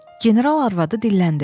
General arvadı dilləndi.